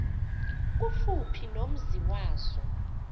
kufuphi nomzi wazo